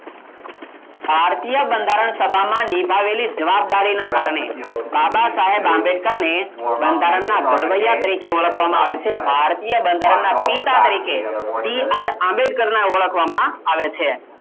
ભારતીય બંધારણ સભામાં નિભાવેલી જવાબદારી ના કારણે બાબા સાહેબ આંબેડકર ને બંધારણના ઘડવૈયા તરીકે ઓળખવામાં આવે છે ભારતીય બંધારણના પિતા તરીકે BR આંબેડકર ના ઓળખવામાં આવે છે